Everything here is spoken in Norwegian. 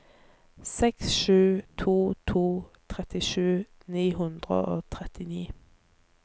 seks sju to to trettisju ni hundre og trettini